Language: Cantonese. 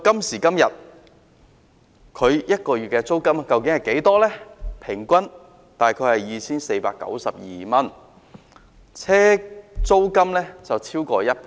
時至今日，每月租金平均大概是 2,492 元，上升逾1倍。